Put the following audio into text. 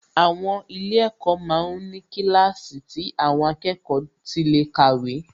Àwọn ilé-ẹ̀kọ́ ma ń ní kíláàsì tí àwọn akẹ́kọ̀ọ́ tí lè kàwé